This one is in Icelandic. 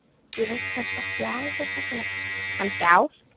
Ég veit samt ekki alveg hversu langt, kannski ár?